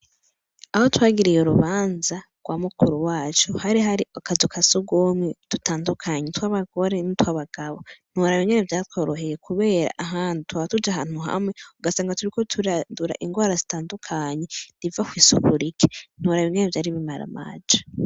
Aho twagiriye urubanza rwa mukuru wacu, Hari hari akazu kasugumwe tutandukanye tw'abagore n'i twabagabo .ntiworaba uko vyatworoheye kubera ahandi twahora tuja ahantu hamwe ugasanga turi ko turadura ingwara zitandukanye riva ku isuku rike ntura yoinene byari bimara maje.